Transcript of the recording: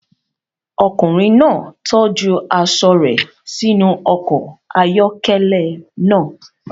Ọkùnrin náà tọ́jú aṣọ rẹ̀ sínú ọkọ̀ ayọ́kẹ́lẹ́ náà.